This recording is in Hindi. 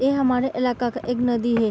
ये हमारे इलाक़ा का एक नदी हे।